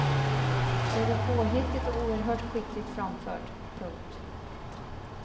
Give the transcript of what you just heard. Det är påhittigt och oerhört skickligt framfört. punkt